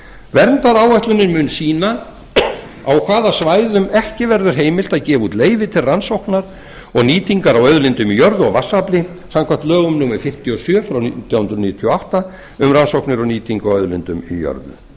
verndaráætlunin mun sýna á hvaða svæðum ekki verður heimilt að gefa út leyfi til rannsókna og nýtingar á auðlindum í jörðu og vatnsafli samkvæmt lögum númer fimmtíu og sjö nítján hundruð níutíu og átta um rannsóknir og nýtingu á auðlindum í jörðu